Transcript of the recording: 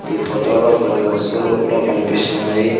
ఈ ఫోటో లో కొన్ని వస్తువులు కూడా కనిపిస్తున్నాయి.